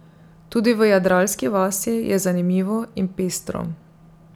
Tudi v jadralski vasi je zanimivo in pestro.